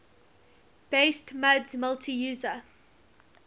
based muds multi user